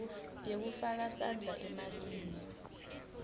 yekufaka sandla emalini